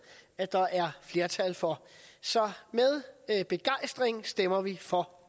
at der er flertal for så med begejstring stemmer vi for